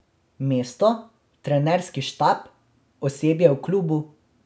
Mesto, trenerski štab, osebje v klubu...